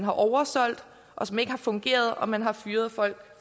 oversolgt og som ikke har fungeret og man har fyret folk